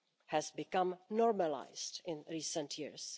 has become normalised in recent years.